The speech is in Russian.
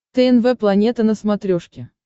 тнв планета на смотрешке